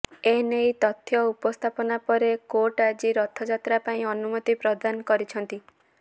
ଏନେଇ ତଥ୍ୟ ଉପସ୍ଥାପନ ପରେ କୋର୍ଟ ଆଜି ରଥଯାତ୍ରା ପାଇଁ ଅନୁମତି ପ୍ରଦାନ କରିଛନ୍ତି